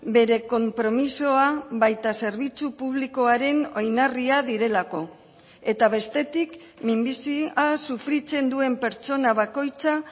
bere konpromisoa baita zerbitzu publikoaren oinarria direlako eta bestetik minbizia sufritzen duen pertsona bakoitza